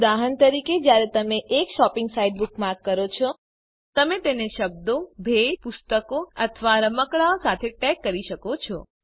ઉદાહરણ તરીકે જ્યારે તમે એક શોપિંગ સાઇટ બુકમાર્ક કરો છો તમે તેને શબ્દો ભેટ પુસ્તકો અથવા રમકડાં સાથે ટૅગ કરી શકો છો